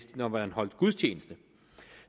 når man holdt gudstjeneste